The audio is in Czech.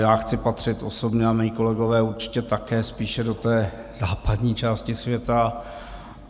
Já chci patřit osobně, a mí kolegové určitě také, spíše do té západní části světa.